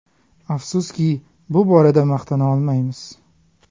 Afsuski, bu borada maqtana olmaymiz.